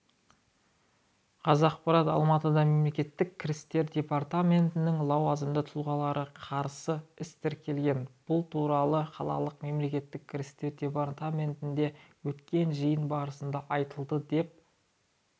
қазақпарат алматыда мемлекеттік кірістер департаментінің лауазымды тұлғаларына қарсы іс тіркелген бұл туралы қалалық мемлекеттік кірістер департаментінде өткен жиын барысында айтылды деп